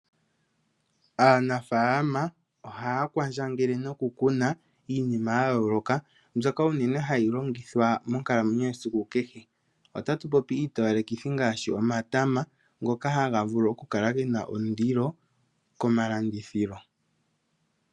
Aanafalama ohaya kwandjangele nokukuna iinima ya yooloka mbyoka uunene hayi longithwa monkalamwenyo yesiku kehe. Otatu popi iitowalekitho ngaashi omatama ngoka haga vulu oku kala gena ondilo komalandithilo.